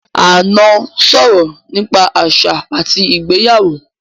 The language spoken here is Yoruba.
Ànọ́ sọ̀rọ̀ nípa àṣà àti ìgbéyàwó